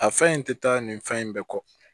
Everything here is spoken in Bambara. A fɛn in tɛ taa nin fɛn in bɛɛ kɔ